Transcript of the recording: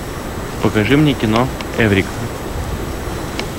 покажи мне кино эврика